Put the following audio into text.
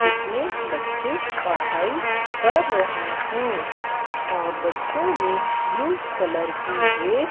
जिसमें बच्चे पढ़ाई कर रहे हैं और बच्चों ने ब्लू कलर की ड्रेस --